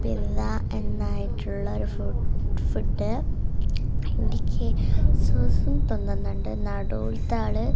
പിന്ന എന്നായിട്ടുള്ള ഒരു ഫു ഫുഡ് എനിക്ക് സുസു തോന്നുന്നുണ്ട് നടൂലത്തെ ആള്--